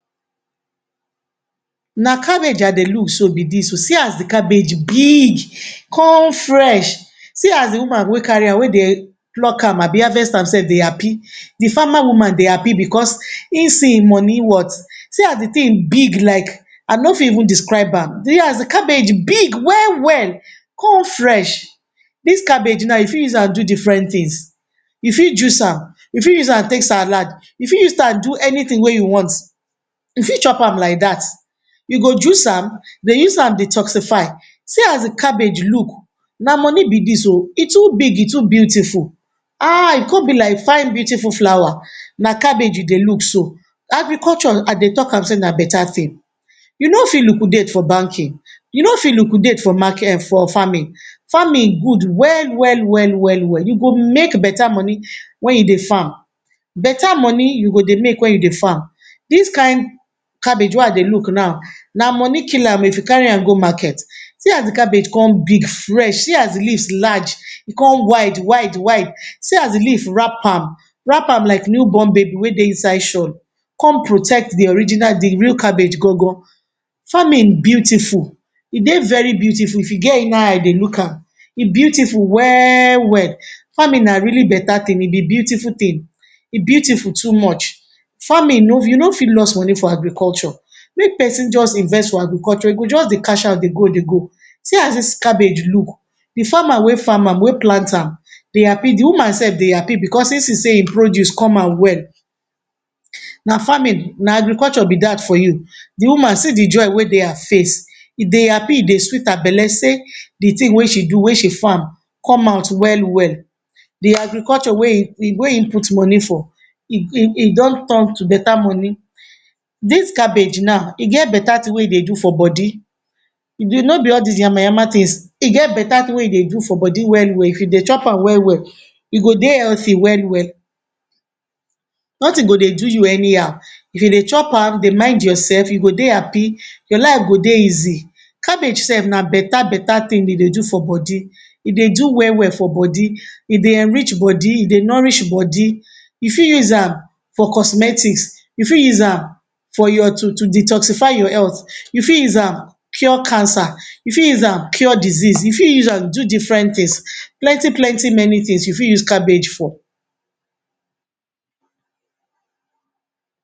Na cabbage I dey look so be dis oh. See as di cabbage big, con fresh. See as di woman wey carry am wey dey pluck am abi harvest am sef dey happy. Di farmer woman dey happy becos ein see ein money worth. See as di tin big like I no fit even describe am. See as di cabbage big well-well con fresh. Dis cabbage nau you fit use an do different tins. You fit juice am, you fit am take salad, you fit use am do anytin wey you want. You fit chop am like dat. You go juice am, dey use am detoxify. See as di cabbage look. Na money be dis oh. E too big, e too beautiful. Ah! E con be like fine beautiful flower. Na cabbage you dey look so. Agriculture, I dey talk am sey na beta tin. You no fit liquidate for banking. You no fit liquidate for market um for farming. Farming good well well well well well. You go make beta money wen you dey farm. Beta money you go dey make wen you dey farm. Dis kain cabbage wey I dey look nau, na money kill am oh if you carry am go market. See as di cabbage con big, fresh, see as di leaves large. E con wide wide wide. See as di leaf wrap am, wrap am like new born baby wey dey inside shawl come protect di original di real cabbage gangan. Farming beautiful, e dey very beautiful if you get inner eye dey look am. E beautiful well-well. Farming na really beta tin, e be beautiful tin. E beautiful too much. Farming no you no fit loss money for agriculture. Make pesin juz invest for agriculture, e go juz dey cashout dey go dey go. See as dis cabbage look. Di farmer wey farm am wey plant am dey happy, di woman sef dey happy becos since e sey ein produce come out well. Na farming, na agriculture be dat for you. Di woman, see di joy wey dey her face. E dey happy, e dey sweet her belle sey di tin wey she do wey she farm come out well-well. Di agriculture wey ein e wey e put money for e e e don turn to beta money. Dis cabbage nau, e get beta tin wey e dey do for bodi. E no be all dis yamayama tins. E get beta tin wey e dey do for bodi well-well. If you dey chop am well-well, you go dey healthy well-well, nothing go dey do you anyhow. If you dey chop am, dey mind yoursef, you go dey happy, your life go dey easy. Cabbage sef na beta-beta tin e dey do for bodi. E dey do well-well for bodi. E dey enrich bodi, e dey nourish bodi. You fit use am for cosmetics, you fit use am for your to to detoxify your health, you fit use am cure cancer, you fit use am cure disease, you fit an do different tins. Plenti-plenti many tins you fit use cabbage for.